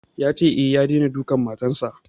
Ya ce, e, ya daina dukan matan sa.